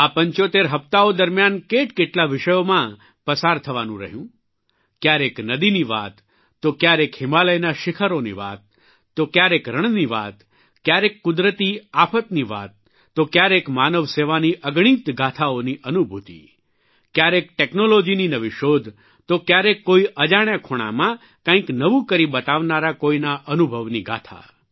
આ 75 હપ્તાઓકડીઓ દરમ્યાન કેટકેટલા વિષયોમાં પસાર થવાનું રહ્યું કયારેક નદીની વાત તો કયારેક હિમાલયના શીખરોની વાત તો ક્યારેક રણની વાત કયારેક કુદરતી આફની વાત તો કયારેક માનવસેવાની અગણિત ગાથાઓની અનુભૂતિ કયારેક ટેકનોલોજીની નવી શોધ તો કયારેક કોઇ અજાણ્યા ખૂણામાં કંઇક નવું કરી બતાવનારા કોઇના અનુભવની ગાથા